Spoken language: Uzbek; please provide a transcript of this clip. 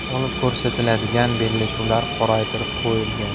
Olib ko‘rsatiladigan bellashuvlar qoraytirib qo‘yilgan.